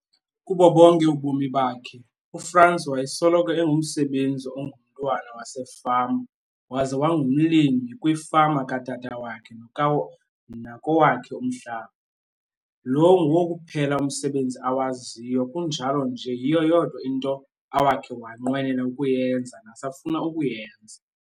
Kubo bonke ubomi bakhe, uFrans wayesoloko engumsebenzi ongumntwana wasefama waze wangumlimi kwifama katata wakhe nakowakhe umhlaba. Lo nguwo kuphela umsebenzi awaziyo kunjalo nje yiyo yodwa into awakhe wanqwenela ukuyenza nasafuna ukuyenza.